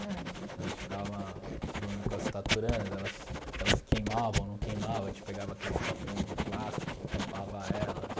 Então a gente ficava zoando com as taturanas, elas que elas queimavam ou não queimavam, a gente pegava aqueles copinhos de plástico, tampava elas.